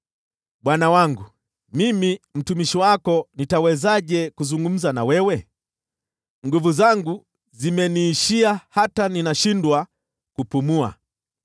Bwana wangu, mimi mtumishi wako nitawezaje kuzungumza na wewe? Nguvu zangu zimeniishia hata ninashindwa kupumua.”